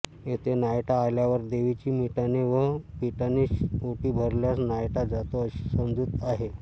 येथे नायटा आल्यावर देवीची मिठाने व पिठाने ओटी भरल्यास नायटा जातो अशी समजूत आहे